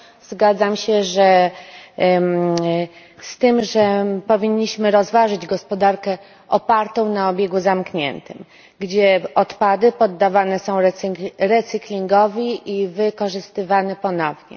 Zgadzam się z tym, że powinniśmy rozważyć gospodarkę opartą na obiegu zamkniętym, gdzie odpady poddawane są recyklingowi i wykorzystywane ponownie.